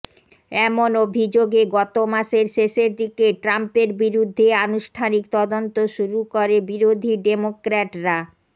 এমন অভিযোগে গত মাসের শেষের দিকে ট্রাম্পের বিরুদ্ধে আনুষ্ঠানিক তদন্ত শুরু করে বিরোধী ডেমোক্র্যাটরা